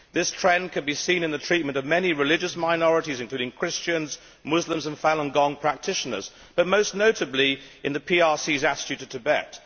This trend can be seen in the treatment of many religious minorities, including Christians, Muslims and Falun Gong practitioners, and most notably in the PRC's attitude to Tibet.